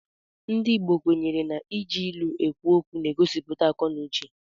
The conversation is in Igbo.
Ndị Igbo kwenyere na iji ilu ekwu okwu na-egosipụta akọ na uche.